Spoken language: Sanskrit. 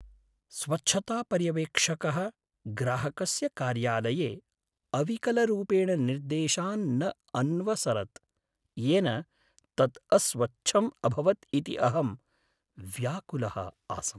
स्वच्छतापर्यवेक्षकः ग्राहकस्य कार्यालये अविकलरूपेण निर्देशान् न अन्वसरत्, येन तत् अस्वच्छम् अभवत् इति अहं व्याकुलः आसम्।